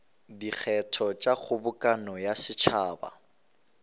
dikgetho tša kgobokano ya setšhaba